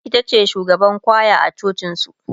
itace shugaban kwaya a cocin su